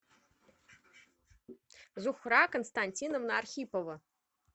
зуфра константиновна архипова